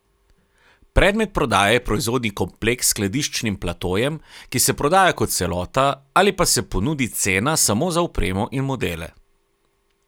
Predmet prodaje je proizvodni kompleks s skladiščnim platojem, ki se prodaja kot celota ali pa se ponudi cena samo za opremo in modele.